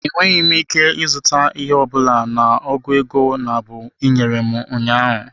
Enweghị m ike ịzụta ihe ọ bụla na ọgụ ego nabụ ị nyere m ụnyaahụ.